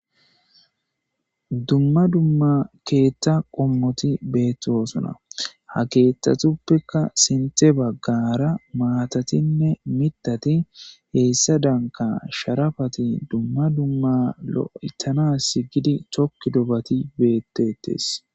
Dumma dumma keethta qommoti beettosuna ha keeththatuppekka sinte baggara maatatinne mitati heessa danka sharafati dumma dumma lo'etana s gidi chokki dobati beettetes